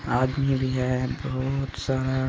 आदमी भी है बहुत सारा।